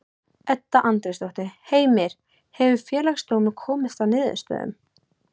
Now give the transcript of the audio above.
Edda Andrésdóttir: Heimir, hefur Félagsdómur komist að niðurstöðu?